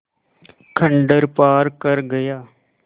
खंडहर पार कर गया